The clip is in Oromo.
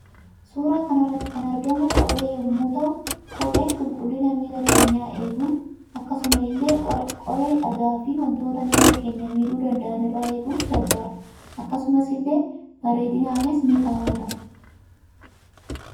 Suuraa kanarratti kan argamu kophee yommuu ta'uu kopheen qulqullina miila keenyaa eeguuf akkasumas ille qoree dhagaa fi wantota miila keenyaa miidhuu danda'an irraa eeguuf gargaara akkasumas illee bareedinaafis ni kaawwatama.